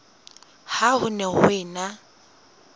ha ho ne ho ena